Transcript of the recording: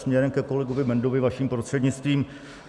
Směrem ke kolegovi Bendovi vaším prostřednictvím.